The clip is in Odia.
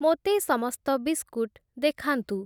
ମୋତେ ସମସ୍ତ ବିସ୍କୁଟ୍‌ ଦେଖାନ୍ତୁ ।